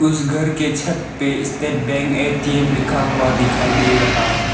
इस घर के छत पे स्टेट बैंक ए_टी_एम लिखा हुआ दिखाई दे रहा है।